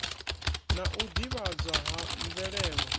na u ḓivhadzwa ha mvelelo